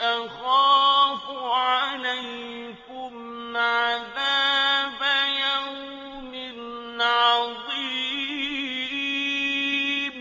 أَخَافُ عَلَيْكُمْ عَذَابَ يَوْمٍ عَظِيمٍ